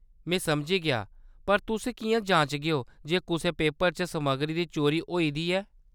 में समझी गेआ ! पर तुस किʼयां जांचगेओ जे कुसै पेपर च समग्गरी दी चोरी होई दी ऐ ?